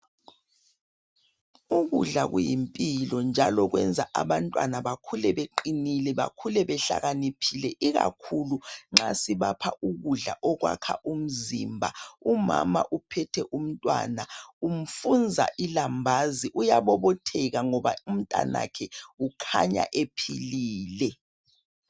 Ukudla kuyimpilo njalo kwenza abantwana bakhule beqinile, bakhule behlakaniphile ikakhulu nxa sibapha ukudla okwakha umzimba. Umama uphethe umntwana umfunza ilambazi, uyabobotheka ngoba umntanakhe ukhanya ephilile.